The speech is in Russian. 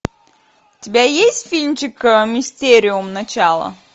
у тебя есть фильмчик мистериум начало